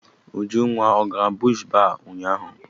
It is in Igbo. Ujunwa ọ gara bush baa ụnyaahụ?